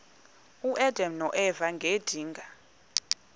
uadam noeva ngedinga